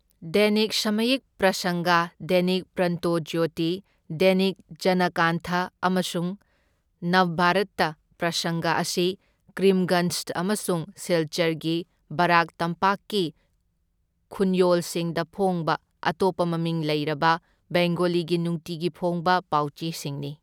ꯗꯦꯅꯤꯛ ꯁꯃꯥꯌꯤꯛ ꯄ꯭ꯔꯁꯪꯒ, ꯗꯦꯅꯤꯛ ꯄ꯭ꯔꯟꯇꯣꯖ꯭ꯌꯣꯇꯤ, ꯗꯦꯅꯤꯛ ꯖꯅꯀꯥꯟꯊꯥ ꯑꯃꯁꯨꯡ ꯅꯕꯕꯔꯇ ꯄ꯭ꯔꯁꯪꯒ ꯑꯁꯤ ꯀꯔꯤꯝꯒꯟꯖ ꯑꯃꯁꯨꯡ ꯁꯤꯜꯆꯔꯒꯤ ꯕꯔꯥꯛ ꯇꯝꯄꯥꯛꯀꯤ ꯈꯨꯟꯌꯣꯜꯁꯤꯡꯗ ꯐꯣꯡꯕ ꯑꯇꯣꯞꯄ ꯃꯃꯤꯡ ꯂꯩꯔꯕ ꯕꯦꯡꯒꯣꯂꯤꯒꯤ ꯅꯨꯡꯇꯤꯒꯤ ꯐꯣꯡꯕ ꯄꯥꯎꯆꯦꯁꯤꯡꯅꯤ꯫